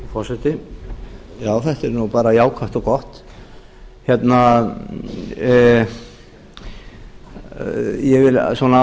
forseti já þetta er nú bara jákvætt og gott ég vil svona